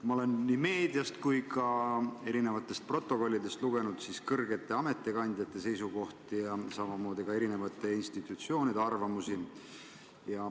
Ma olen nii meediast kui ka eri protokollidest lugenud kõrgete ametikandjate seisukohti, samuti eri institutsioonide arvamusi.